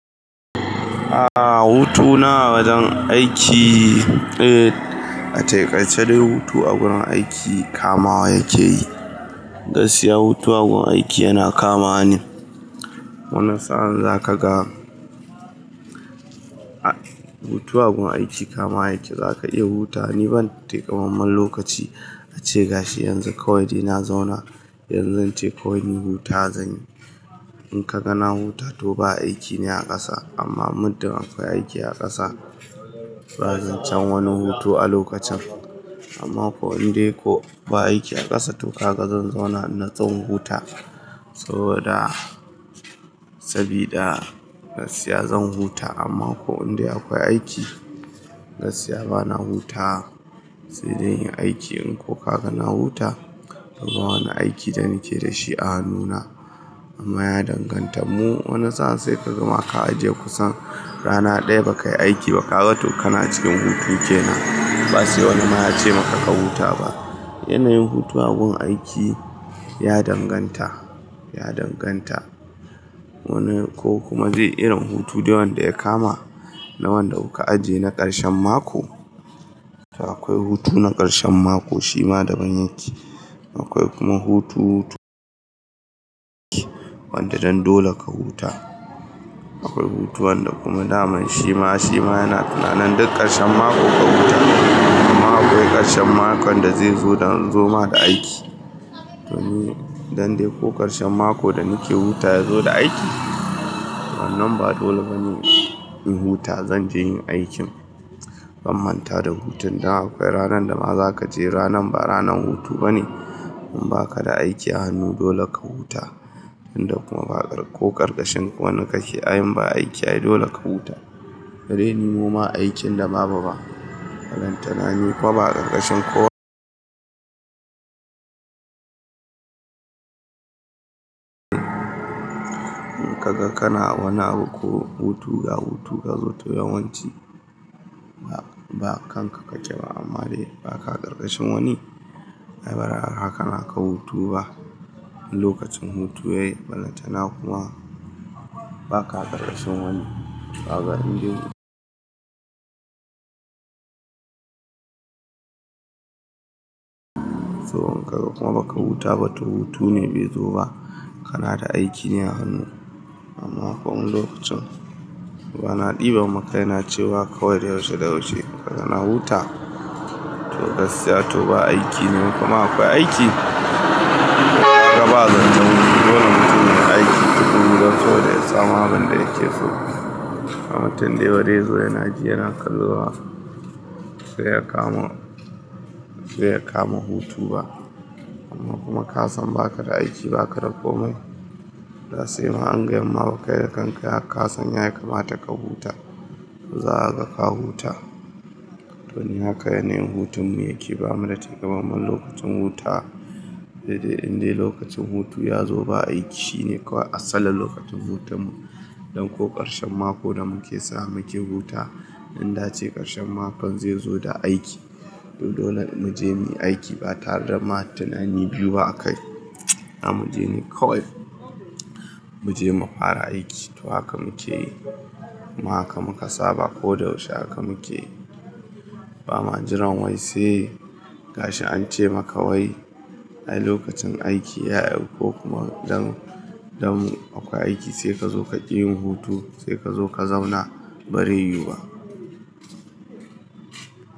Aaa hutu na a wajen aiki, eh ataƙai ce dai hutu a wurin aiki kamawa yake yi. Gaskiya hutu a gun aiki yana kamawa ne. Wani sa'an za ka ga, a hutu a gun aiki kama yake, za ka iya huta ni ban taimamman lokaci a ce gashi yanzu kawai ina zauna. Yanzu in ce kawai ni huta wa zan yi. In ka ga na huta to ba aiki ne a ƙasa, amma muddun akwai aiki a ƙasa ba zan can wani hutu a lokacin. Amma ko indai ko ba aiki a ƙasa tukuna ka zan zauna in natsu in huta. Saboda sabida gaskiya zan huta amma ko inda akwai aiki gaskiya bana hutawa, sai dai in yi aiki in ko ka ga na huta, to ba wani aiki da nake da shi a hanu na. Amma ya danganta mu wani sa'an sai ka gama ka ajiye ma kusan rana ɗaya ba ka yi aiki ba, ka ga to kana cikin hutu ke nan. Ba sai wani ma ya ce maka ka huta ba. Yanayin hutu a gun aiki ya danganta, ya danganta. Wani ko kuma zai yi irin hutu dai wanda ya kama na wanda kuka ajiye na ƙarshen mako. To akwai hutu na ƙarshen mako shima daban yake. Akwai kuma hutu, wanda dan dole ka huta. Akwai hutu wanda kuma daman shima, shima yana tunanin duk ƙarshen mako ka huta. Kuma akwai ƙarshen makon da zai zo don zo ma da aiki. To ni dan dai ko ƙarshen mako da nake huta ya zo da aiki? Amma nan ba dole bane yin huta zan je yin aikin. Ban manta da hutun da akwai ranar da ma za ka je ranan ba ranar hutu bane. In ba ka da aiki a hannu dole ka huta. Inda kuma ba ƙar ko ƙarƙashin wani kake ayan ba aiki ayi dole ka huta. Da dai ni moma aikin da babu ba. Ballantana ni kuma ba a ƙarƙashin ko. In ka ga kana wani abu ko hutu da hutu ka zo ta yawanci ba, ba kanka ka je ba amma dai ba ka ƙarƙashin wani. Ai bari har haka na ka hutu ba. In lokacin hutu ya yi falantana kuma ba ka ƙarƙashin wani, ba ga inda. So in ka ga kuma ba ka huta ba to hutu ne bai zo ba. Kana da aiki ne a hannu. Amma ko wani lokacin bana ɗiba makaina cewa kawai dai yaushe da yaushe ka ga na huta. To gaskiya to ba aiki ne kuma akwai aiki. Kaga ba zan zauna hutu dole mutum yayi aiki duk wurin so da ya tsama ban da yake so. Amma tunda yayi rezo yana ji yana kallo ba, bai ya kama, bai ya kama hutu ba. Amma kuma kasan ba ka da aiki ba ka da komai. Da sai ma an gaya maka ka da kanka kasan yayi kamataka huta. To za a ga ka huta. To ni haka yanayin hutun ne yake ba mu da takaimamman lokacin huta. Sai dai indai lokacin hutu ya zo ba aiki shine kawai asalin lokacin hutun mu. Don ko ƙarshen mako da muke samu ake huta. Inda ace ƙarshen makon zai zo da aiki. To dole mu je muyi aiki ba tare da ma tunani biyu ba a kai. A mu je muyi kawai. Mu je mu fara aiki. To haka muke yi. Ma haka muka saba ko da yaushe haka muke yi. Ba ma jiran wai sai gashi an ce maka wai, ai lokacin aiki ya iso ko kuma dan, dan akwai aiki sai ka zo ka ƙi yin hutu sai ka zo ka zauna barai yiwu ba.